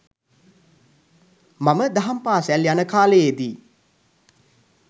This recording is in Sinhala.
මම දහම් පාසල් යන කාලයේදී